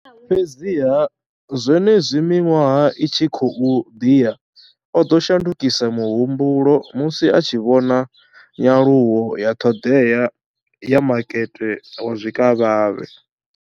Fhedziha, zwenezwi miṅwaha i tshi khou ḓi ya, o ḓo shandukisa muhumbulo musi a tshi vhona nyaluwo ya ṱhoḓea ya makete wa zwikavhavhe.